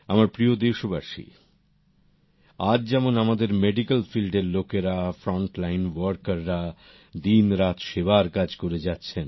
আমার প্রিয় দেশবাসী আজ যেমন আমাদের মেডিকেল ফিল্ডের লোকেরা ফ্রন্টলাইন ওয়ার্কার রা দিন রাত সেবার কাজ করে যাচ্ছেন